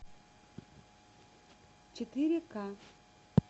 четыре ка